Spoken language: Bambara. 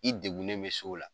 I degunnen bɛ s'o la.